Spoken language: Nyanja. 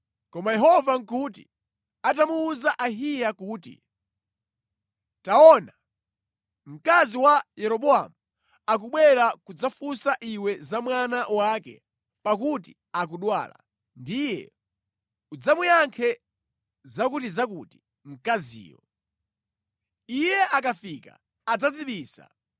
Koma Yehova nʼkuti atamuwuza Ahiya kuti, “Taona, mkazi wa Yeroboamu akubwera kudzafunsa iwe za mwana wake pakuti akudwala, ndiye udzamuyankhe zakutizakuti mkaziyo. Iye akafika, adzadzibisa.”